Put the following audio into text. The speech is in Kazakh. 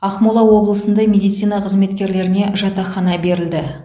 ақмола облысында медицина қызметкерлеріне жатақхана берілді